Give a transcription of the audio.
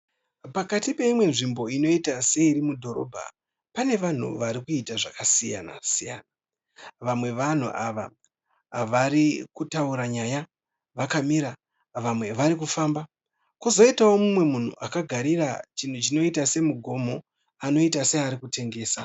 Pakati peimwe nzvimbo inoita seiri mudhorobha pane vanhu varikuita zvakasiyana siyana. Vamwe vevanhu ava varikutaura nyaya vakamira vamwe varikufamba. Kwozoitao mumwe munhu akagarira chinhu chinoita semugomo anoita searikutengesa.